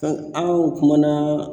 an kun kuma na